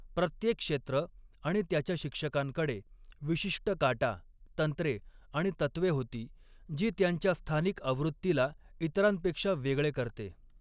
प्रत्येक क्षेत्र आणि त्याच्या शिक्षकांकडे विशिष्ट काटा, तंत्रे आणि तत्त्वे होती जी त्यांच्या स्थानिक आवृत्तीला इतरांपेक्षा वेगळे करते.